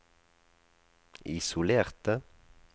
isolerte